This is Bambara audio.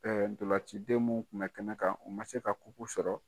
Ɛɛ ndolancidenw mun kun bɛ kɛnɛ kan u ma se ka sɔrɔ.